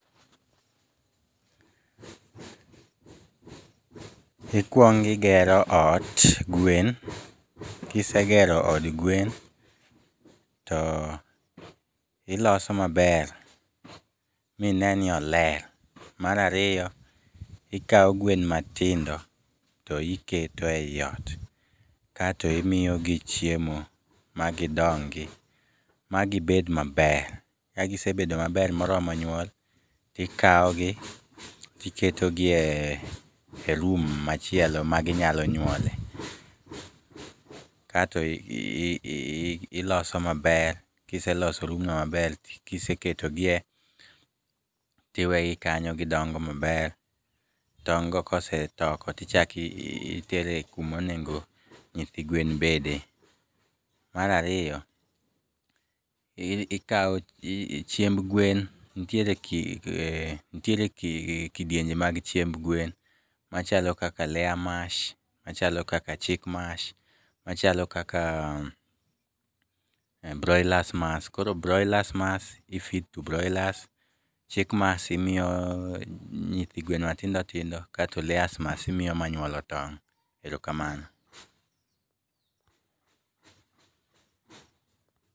Ikwongigero ot, gwen, kisegero od gwen to iloso maber mine ni oler. Marariyo, ikawo gwen matindo to iketo eiot kaeto imiyogi chiemo magidongi magibed maber. Kagisebedo maber moromo nyuol, tikawogi tiketogi e room machielo ma ginyalo nywole. Kato iloso maber, kiseloso room no maber, kiseketogie tiwegi kanyo gidongo maber. Tong' go kosetoko tichakitere kumonego nyithi gwen bede. Marariyo, ikawo, chiemb gwen nitiere kidienje mag chiemb gwen. Machalo kaka layer mash, machalo kaka chick mash, machalo kaka broilers mas. Koro b broilers mas i feed to broilers, chick mas imiyo nyithi gwen matindo tindo kasto layers mas imiyo manyuolo tong'. Erokamano.